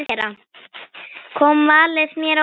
Kom valið mér á óvart?